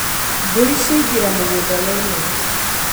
Mbũri ciaingĩra mũgũnda wene.